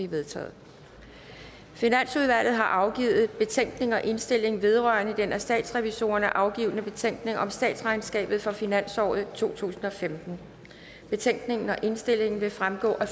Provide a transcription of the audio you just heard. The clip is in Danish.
vedtaget finansudvalget har afgivet betænkning og indstilling vedrørende den af statsrevisorerne afgivne betænkning om statsregnskabet for finansåret totusinde og femtende betænkningen og indstillingen vil fremgå af